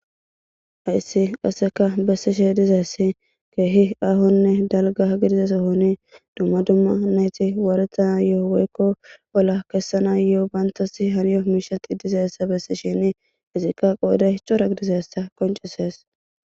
Hayisi qaseka bessishe dizaysi kehi ahonne daliga dumma dumma woretayo bantasi kessana bessishini qodhe Cora gidizayssa qonccisees